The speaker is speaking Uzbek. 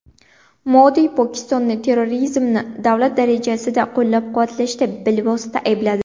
Modi Pokistonni terrorizmni davlat darajasida qo‘llab-quvvatlashda bilvosita aybladi.